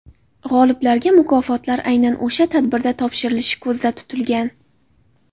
G‘oliblarga mukofotlar aynan o‘sha tadbirda topshirilishi ko‘zda tutilgan.